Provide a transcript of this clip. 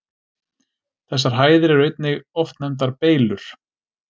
Þessar hæðir eru einnig oft nefndar Beylur.